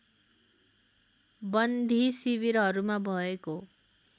बन्दी शिविरहरूमा भएको